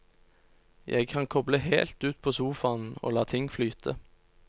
Jeg kan koble helt ut på sofaen og la ting flyte.